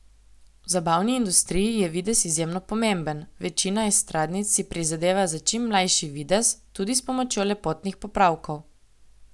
V zabavni industriji je videz izjemno pomemben, večina estradnic si prizadeva za čim mlajši videz, tudi s pomočjo lepotnih popravkov.